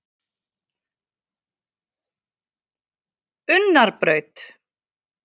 Unnarbraut